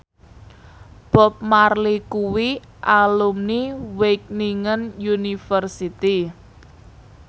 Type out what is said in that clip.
Bob Marley kuwi alumni Wageningen University